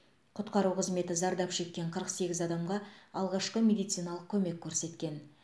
құтқару қызметі зардап шеккен қырық сегіз адамға алғашқы медициналық көмек көрсеткен